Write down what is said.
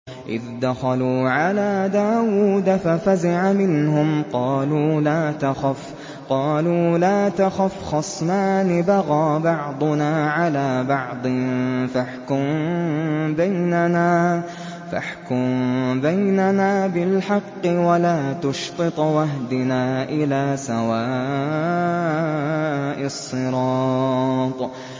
إِذْ دَخَلُوا عَلَىٰ دَاوُودَ فَفَزِعَ مِنْهُمْ ۖ قَالُوا لَا تَخَفْ ۖ خَصْمَانِ بَغَىٰ بَعْضُنَا عَلَىٰ بَعْضٍ فَاحْكُم بَيْنَنَا بِالْحَقِّ وَلَا تُشْطِطْ وَاهْدِنَا إِلَىٰ سَوَاءِ الصِّرَاطِ